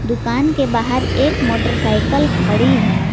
दुकान के बाहर एक मोटरसाइकिल खड़ी है।